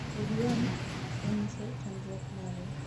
Bobi Wine onyiso chandruok mare,